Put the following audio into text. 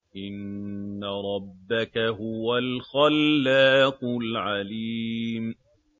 إِنَّ رَبَّكَ هُوَ الْخَلَّاقُ الْعَلِيمُ